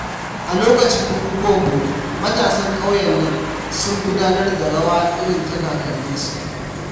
A lokacin bukukuwan Bori, matasan ƙauyen nan sun gudanar da rawa irin ta kakanninsu.